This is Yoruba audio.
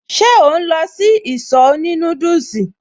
Ṣe ò ń lọ sí ìsọ̀ òní núdùsì?